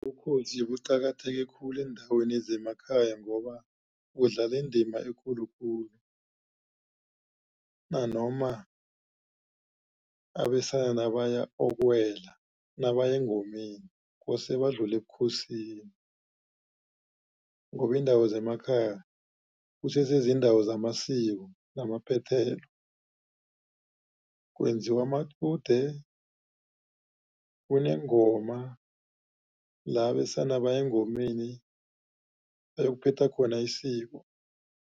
Ubukhosi buqakatheke khulu eendaweni zemakhaya, ngoba qudlala indima ekhulu khulu. Nanoma abesana baya okuwela nabaya engomeni kose badlule ebukhosini. Ngoba iindawo zemakhaya kusese ziindawo zamasiko namaphethelo, kwenziwa amacude, kunengoma la abesana baya engomeni, bayokuphetha khona isiko.